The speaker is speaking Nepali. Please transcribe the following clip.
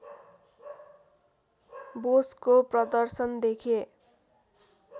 बोसको प्रदर्शन देखे